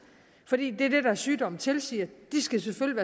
fordi det er det deres sygdom tilsiger de skal selvfølgelig